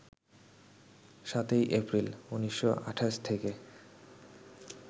৭ই এপ্রিল, ১৯২৮ থেকে